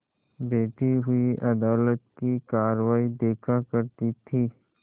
बैठी हुई अदालत की कारवाई देखा करती थी